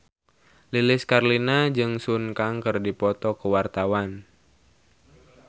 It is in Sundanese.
Lilis Karlina jeung Sun Kang keur dipoto ku wartawan